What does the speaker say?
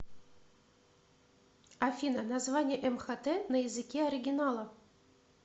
афина название мхт на языке оригинала